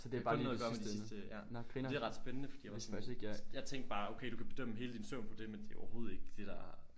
Kun noget at gøre med de sidste ja det er ret spændende fordi jeg var sådan jeg tænkte bare okay du kan bedømme hele din søvn på det men det er overhovedet ikke det der